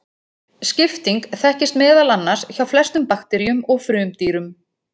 Skipting þekkist meðal annars hjá flestum bakteríum og frumdýrum.